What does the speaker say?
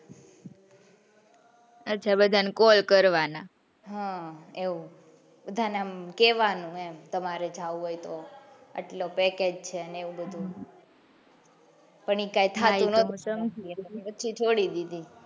અચ્છા બધા ને call કરવાના બધા ને કેવાનું એમ તમારે જાઉં હોય તો એટલું package છે ને એવું બધું પણ એ કઈ ના એટલે પછી છોડી દીધી,